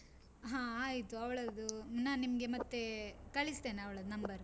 ಹ ಆಯ್ತು ಅವಳದ್ದು, ನಾನ್ ನಿಮ್ಗೆ ಮತ್ತೆ ಕಳಿಸ್ತೇನೆ ಅವಳದ್ದು number .